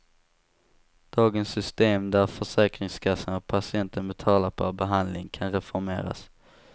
Dagens system, där försäkringskassan och patienten betalar per behandling, kan reformeras.